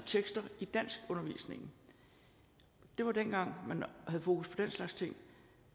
tekster i danskundervisningen det var dengang man havde fokus på den slags ting